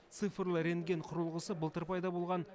цифрлы рентген құрылғысы былтыр пайда болған